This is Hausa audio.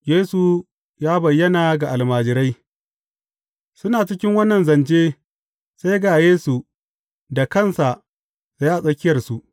Yesu ya bayyana ga almajirai Suna cikin wannan zance, sai ga Yesu da kansa tsaye a tsakiyarsu.